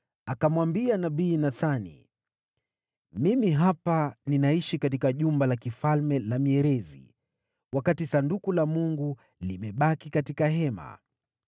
akamwambia nabii Nathani, “Mimi hapa, ninaishi katika jumba la kifalme la mierezi, wakati Sanduku la Mungu limebaki katika hema.”